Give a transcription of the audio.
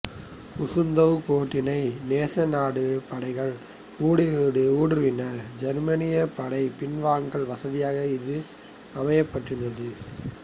Gustav கோட்டினை நேச நாட்டுப் படைகள் ஊடுருவினால் ஜெர்மானியப் படைகள் பின்வாங்க வசதியாக இது அமைக்கப்பட்டிருந்தது